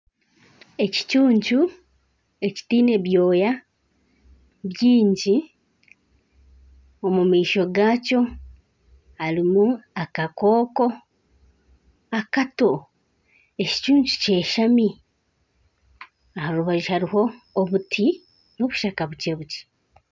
Ekicuncu ekitiine byoya bingi omu maisho gaakyo harimu akakooko akato ekicuncu kyeshami aha rubaju hariho obuti n'obushaka bukye bukye